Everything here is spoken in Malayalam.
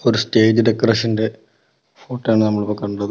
സ്റ്റേജ് ഡെക്കറേഷന്റെ ഫോട്ടോയാണ് നമ്മളിപ്പോ കണ്ടത്.